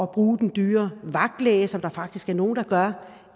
bruge den dyre vagtlæge som der faktisk er nogle der gør